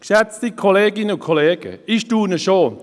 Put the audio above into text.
Geschätzte Kolleginnen und Kollegen, ich staune schon: